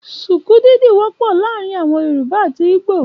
Ṣùkú dídì wọ́pọ̀ láàrin àwọn yorùbá àti ìgbò